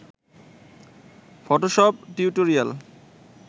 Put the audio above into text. Photoshop tutorial